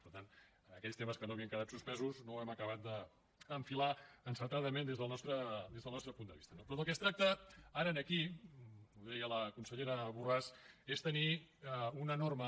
per tant en aquells temes que no havien quedat suspesos no ho hem acabat d’enfilar encertadament des del nostre punt de vista no però del que es tracta ara aquí ho deia la consellera borràs és de tenir una norma